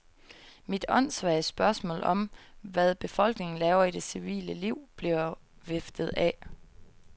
Mit åndssvage spørgsmål om, hvad befolkningen laver i det civile liv, bliver viftet af.